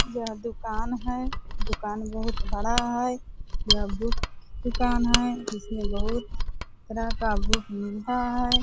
यह दुकान है दुकान बहुत बड़ा है यह बुक दुकान है जिसमे बहुत तरह का बुक मिलता है ।